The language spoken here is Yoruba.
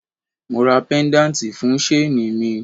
Mo ra pedanti fun shaini mi